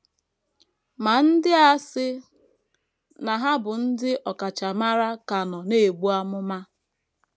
Ma, ndị a sị na ha bụ ndị ọkachamara ka nọ na - ebu amụma. ”